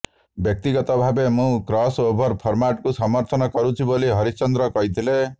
ବ୍ୟକ୍ତିଗତ ଭାବେ ମୁଁ କ୍ରସ୍ ଓଭର ଫର୍ମାଟକୁ ସମର୍ଥନ କରୁଛି ବୋଲି ହରେନ୍ଦ୍ର କହିଥିଲେ